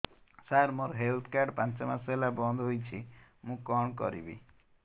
ସାର ମୋର health card ପାଞ୍ଚ ମାସ ହେଲା ବଂଦ ହୋଇଛି ମୁଁ କଣ କରିବି